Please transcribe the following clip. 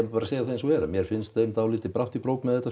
bara að segja eins og er mér finnst þeim dálítið brátt í brók með þetta